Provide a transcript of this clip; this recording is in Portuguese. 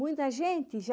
Muita gente já...